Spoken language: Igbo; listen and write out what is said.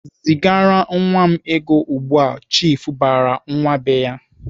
"Zigara nwa m ego ugbu!"Chiifu barala nwa be ya.